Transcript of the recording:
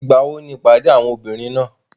Ìgbàwo ni ìpàdé àwọn obìnrin náà?